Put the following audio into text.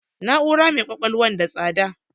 Na'ura mai ƙwaƙwalwa n da tsada